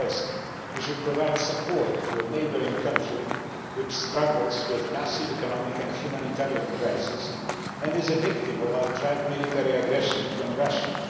First, we should provide support to a neighbouring country which is struggling with a massive economic and humanitarian crisis and is the victim of outright military aggression from Russia.